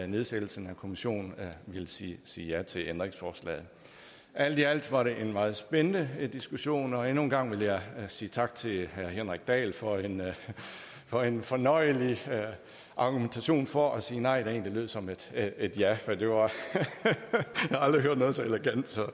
nedsættelsen af kommissionen vil sige sige ja til ændringsforslaget alt i alt var det en meget spændende diskussion og endnu en gang vil jeg sige tak til herre henrik dahl for en for en fornøjelig argumentation for at sige nej der egentlig lød som et ja jeg har aldrig hørt noget så elegant så